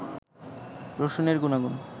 রসুনের গুনাগুন